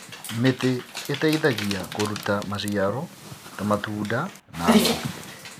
Mĩtĩ ĩteithagia kũruta maciaro ta matunda na ngũ.